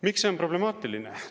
Miks see on problemaatiline?